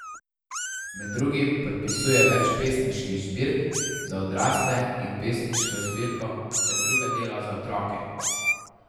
Med drugim podpisuje več pesniških zbirk za odrasle in pesniško zbirko ter druga dela za otroke.